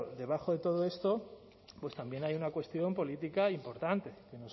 debajo de todo esto también hay una cuestión política importante